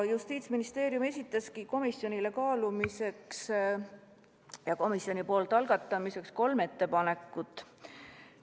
Justiitsministeerium esitaski komisjonile kaalumiseks ja komisjoni poolt algatamiseks kolm ettepanekut.